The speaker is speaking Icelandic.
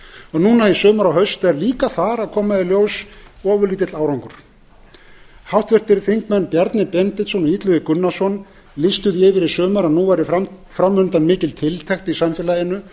og núna í sumar og haust er þar líka að koma í ljós svolítill árangur háttvirtir þingmenn bjarni benediktsson og illugi gunnarsson lýstu því yfir í sumar að nú væri fram undan mikil tiltekt í samfélaginu